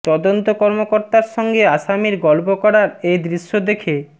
তদন্ত কর্মকর্তার সঙ্গে আসামির গল্প করার এ দৃশ্য দেখে